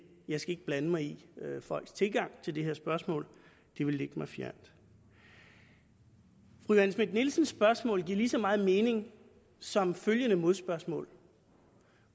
jeg skal ikke blande mig i folks tilgang til det her spørgsmål det ville ligge mig fjernt fru johanne schmidt nielsens spørgsmål giver lige så meget mening som følgende modspørgsmål